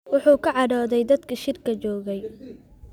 Wuxuu ka cadhooday dadkii shirka joogay